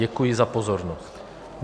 Děkuji za pozornost.